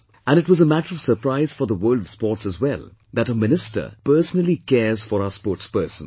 And it was a matter of surprise for the world of sports as well, that a Minister personally cares for our sportspersons